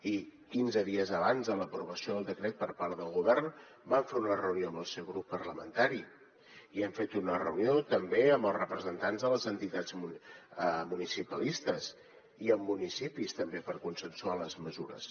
i quinze dies abans de l’aprovació del decret per part del govern vam fer una reunió amb el seu grup parlamentari i hem fet una reunió també amb els representants de les entitats municipalistes i amb municipis també per consensuar les mesures